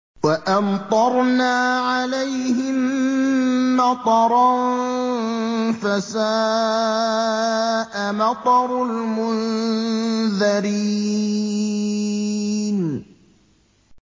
وَأَمْطَرْنَا عَلَيْهِم مَّطَرًا ۖ فَسَاءَ مَطَرُ الْمُنذَرِينَ